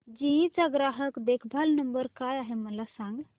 GE चा ग्राहक देखभाल नंबर काय आहे मला सांग